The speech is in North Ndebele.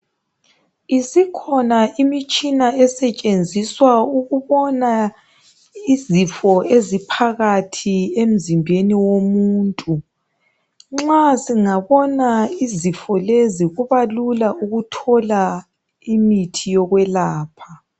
Isikhona imitshina esetshenziswa ukubona izifo eziphakathi emzimbeni womuntu. Nxa singabona izifo lezi kubalula ukuthola imithi yokwelapha.